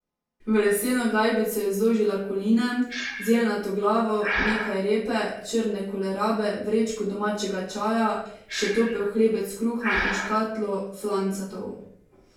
V leseno gajbico je zložila koline, zeljnato glavo, nekaj repe, črne kolerabe, vrečko domačega čaja, še topel hlebec kruha in škatlo flancatov.